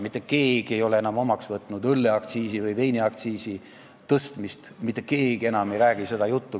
Mitte keegi ei ole enam omaks võtnud õlleaktsiisi või veiniaktsiisi tõstmist, mitte keegi enam ei räägi seda juttu.